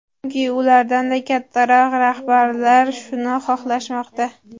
Chunki ulardan-da kattaroq rahbarlar shuni xohlashmoqda.